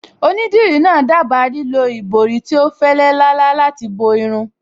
Onídìrí náà dábàá lílo ìborí tí ó fẹ́lẹ́ lálá láti bo irun